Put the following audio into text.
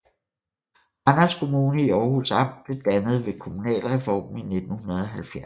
Randers Kommune i Århus Amt blev dannet ved kommunalreformen i 1970